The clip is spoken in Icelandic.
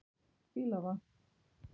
Fíla það.